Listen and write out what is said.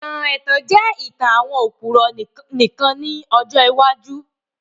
Ìtàn ètàn jẹ ìtàn àwon òpùrọ́ nìkan ni ọjọ́ iwájú